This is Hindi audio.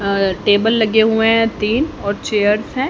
और टेबल लगे हुए हैं तीन और चेयर्स है।